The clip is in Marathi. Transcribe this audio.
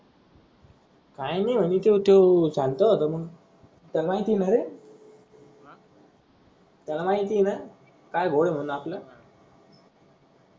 काही नाही म्हने त्यो त्यो चालत होत मंग त्याला माहिती नारे त्याला माहिती आहे ना काय घोड होईल आपल.